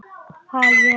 Ha, ég?